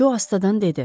Co astadan dedi.